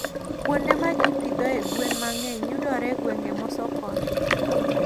Kuonde ma ji pidhoe gwen mang'eny yudore e gwenge mosokore.